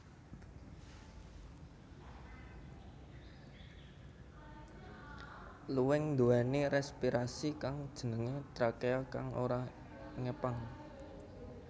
Luwing nduwèni respirasi kang jenengé trakea kang ora ngepang